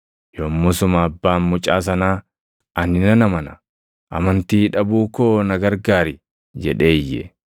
Yommusuma abbaan mucaa sanaa, “Ani nan amana; amantii dhabuu koo na gargaari” jedhee iyye.